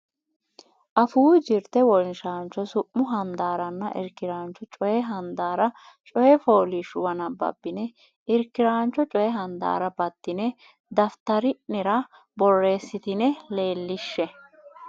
Afuu Jirte Wonshaancho Su mu Handaaranna Irkiraancho Coy Handaara coy fooliishshuwa nabbabbine irki raano coy handaarra baddine daftari nera borreessitine leellishshe.